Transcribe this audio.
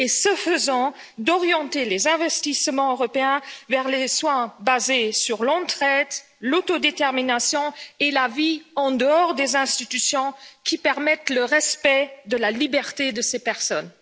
Et ce faisant, d'orienter les investissements européens vers les soins basés sur l'entraide, l'auto détermination et la vie en dehors des institutions spécialisées, soins qui permettent de mieux respecter la liberté de ces personnes?